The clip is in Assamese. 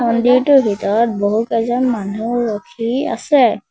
মন্দিৰটোৰ ভিতৰত বহুকেইজন মানুহ ৰখি আছে।